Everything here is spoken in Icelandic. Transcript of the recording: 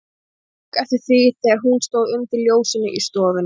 Friðrik tók eftir því, þegar hún stóð undir ljósinu í stofunni.